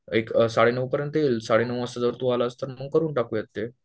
एक साडेनऊ पर्यंत येईल, साडे नऊ वाजता जर तू आलास तर मग आपण करून टाकूयात ते